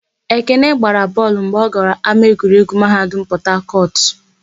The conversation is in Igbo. Ekene gbara bọọlụ mgbe ọ gara ámáegwuregwu Mahadum Pọtakọtụ.